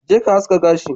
Jeka aski gashi